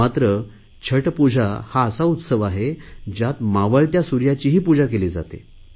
मात्र छठपूजा हा असा उत्सव आहे ज्यात मावळत्या सुर्याचीही पूजा केली जाते